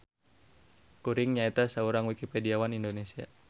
Kuring nyaeta saurang Wikipediawan Indonesia.